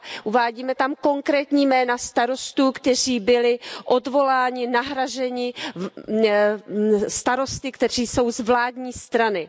Uvádíme tam konkrétní jména starostů, kteří byli odvoláni, nahrazeni starosty, kteří jsou z vládní strany.